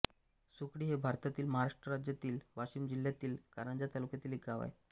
सुकळी हे भारतातील महाराष्ट्र राज्यातील वाशिम जिल्ह्यातील कारंजा तालुक्यातील एक गाव आहे